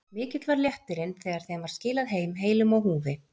Mikill var léttirinn þegar þeim var skilað heim heilum á húfi.